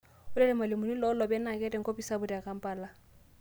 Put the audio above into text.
Ore lmalimuni loolooeny naa keeta enkopis sapuk te Kampala